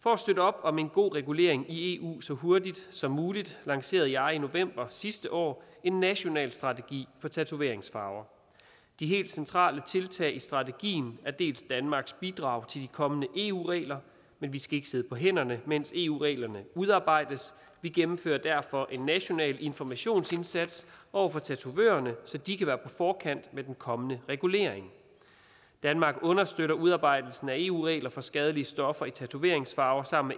for at støtte op om en god regulering i eu så hurtigt som muligt lancerede jeg i november sidste år en national strategi for tatoveringsfarver de helt centrale tiltag i strategien er dels danmarks bidrag til de kommende eu regler men vi skal ikke sidde på hænderne mens eu reglerne udarbejdes vi gennemfører derfor en national informationsindsats over for tatovørerne så de kan være på forkant med den kommende regulering danmark understøtter udarbejdelsen af eu regler for skadelige stoffer i tatoveringsfarver sammen